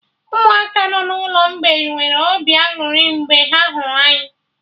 Ụmụaka nọ n'ụlọ mgbei nwere obi aṅụrị mgbe ha hụrụ anyị